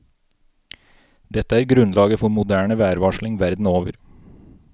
Dette er grunnlaget for moderne værvarsling verden over.